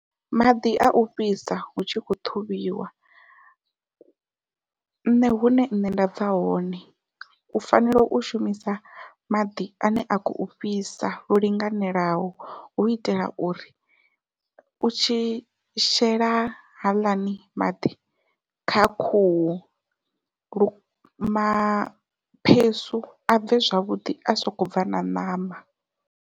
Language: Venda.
Maḓi au fhisa hu tshi khou ṱhuvhiwa nṋe hune nṋe nda bva hone u fanela u shumisa maḓi ane a khou fhisa lwo linganelaho hu itela uri u tshi shela haaḽani maḓi kha khuhu lu maphesu a bve zwavhuḓi a sokou bva na ṋama.